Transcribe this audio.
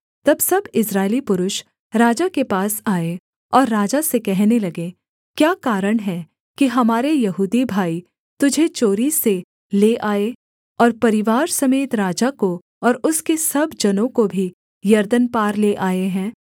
तब सब इस्राएली पुरुष राजा के पास आए और राजा से कहने लगे क्या कारण है कि हमारे यहूदी भाई तुझे चोरी से ले आए और परिवार समेत राजा को और उसके सब जनों को भी यरदन पार ले आए हैं